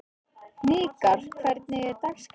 Hnikarr, hvernig er dagskráin?